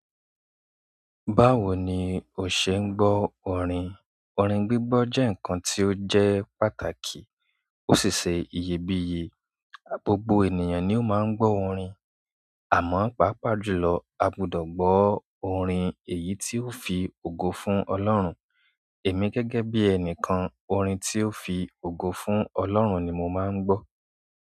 Báwo ni o ṣe ń gbọ́ orin? Orin gbígbọ́ jẹ́ nǹkan tí ó jẹ́ pàtàkì, ó ṣi ṣẹ́ iyebíye. Gbogbọ̀ ènìyàn ni ó máa ń gbọ́ orin, àmọ́ pàápàá jùlọ a gbudọ̀ gbọ́ orin èyí tí ó fi ògo fún ọlọ́run. Èmi gẹ́gẹ́ bí ẹnìkan, orin tí ó fi ògo fún ọlọ́run ni mo máa ń gbọ́.